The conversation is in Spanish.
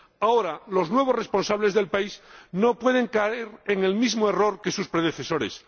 Ahora, los nuevos responsables del país no pueden caer en el mismo error que sus predecesores.